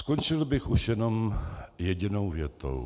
Skončil bych už jenom jedinou větou.